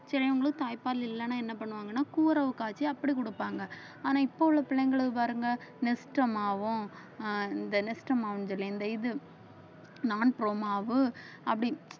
சரி அவங்களுக்கு தாய்ப்பால் இல்லைன்னா என்ன பண்ணுவாங்கன்னா கூரவு காய்ச்சி அப்படி கொடுப்பாங்க ஆனா இப்போ உள்ள பிள்ளைங்களை பாருங்க மாவும் ஆஹ் இந்த என்ன மாவும் சொல்லி இந்த இது மாவு அப்படி